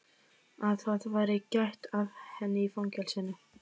Að það væri gætt að henni í fangelsinu?